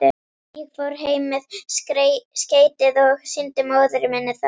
Ég fór heim með skeytið og sýndi móður minni það.